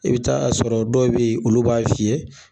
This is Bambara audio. I bɛ taa sɔrɔ dɔw bɛ yen olu b'a fii ye.